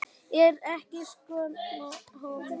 Ertu ekki stoltur af honum?